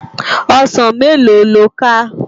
Òsán méló ló ká?